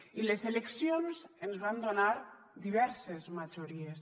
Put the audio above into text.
i les eleccions ens van donar diverses majories